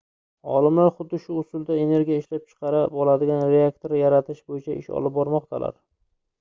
olimlar xuddi shu usulda energiya ishlab chiqara oladigan reaktor yaratish boʻyicha ish olib bormoqdalar